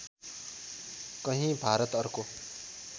कहीँ भारत अर्को